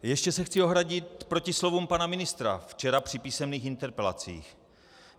Ještě se chci ohradit proti slovům pana ministra včera při písemných interpelacích.